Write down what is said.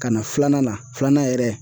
Ka na filanan na, filanan yɛrɛ